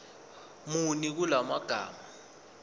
muni kula magama